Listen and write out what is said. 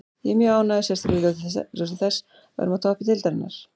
Ég er mjög ánægður, sérstaklega í ljósi þess að við erum á toppi deildarinnar.